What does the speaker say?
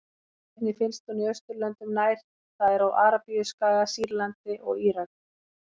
Einnig finnst hún í Austurlöndum nær, það er á Arabíuskaga, Sýrlandi og Írak.